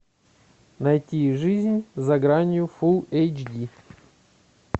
найти жизнь за гранью фул эйч ди